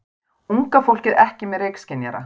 Unga fólkið ekki með reykskynjara